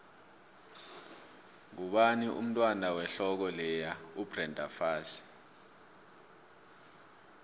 ngubani umntwand wehloko leya ubrenda fassie